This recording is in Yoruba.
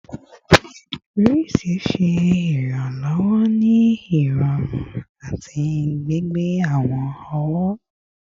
Wrists ṣe iranlọwọ ni irọrun ati gbigbe awọn ọwọ